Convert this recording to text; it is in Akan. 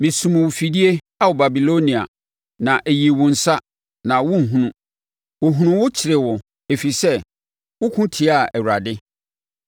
Mesum wo afidie Ao Babilonia, na ɛyii wo ansa na worehunu; wɔhunu wo kyeree wo ɛfiri sɛ woko tiaa Awurade.